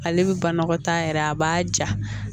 Ale bɛ banakɔtaa yɛrɛ a b'a ja